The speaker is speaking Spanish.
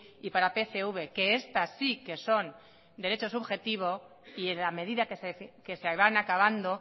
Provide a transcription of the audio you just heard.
y para pcv que estas sí que son derecho subjetivo y en la medida que se van acabando